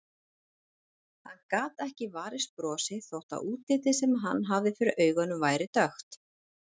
Hann gat ekki varist brosi þó að útlitið sem hann hafði fyrir augunum væri dökkt.